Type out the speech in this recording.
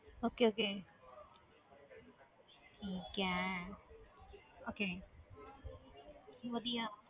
Okay okay ਠੀਕ ਹੈ okay ਵਧੀਆ